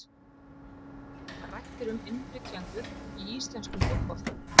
Rætt er um innflytjendur í íslenskum fótbolta.